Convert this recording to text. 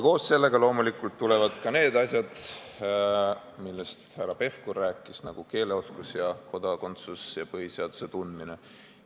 Koos sellega loomulikult tulevad ka need asjad, millest härra Pevkur rääkis, nagu keeleoskus ja põhiseaduse tundmine.